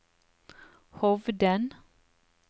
Hovden